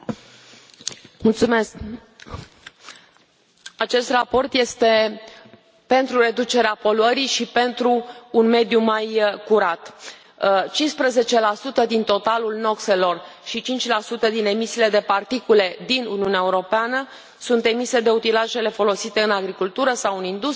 Domnule președinte, acesta raport este pentru reducerea poluării și pentru un mediu mai curat. 15 din totalul noxelor și 5 din emisiile de particule din Uniunea Europeană sunt emise de utilajele folosite în agricultură sau în industrie, cum ar fi